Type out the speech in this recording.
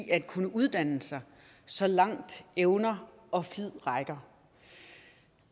at kunne uddanne sig så langt evner og flid rækker